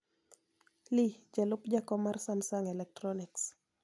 Lee, jalup jakom mar Samsung Electronics,